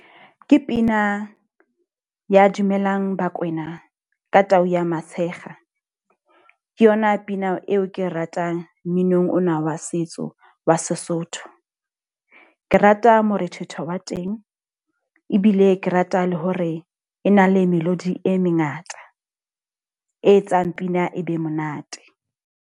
Ke pina ya dumelang bakwena ka tau ya Matshekga. Ke yona pina eo ke ratang mminong ona wa setso wa Sesotho. Ke ke rata morethetho wa teng, ebile ke rata le hore e na le melodi e mengata e etsang pina e be monate.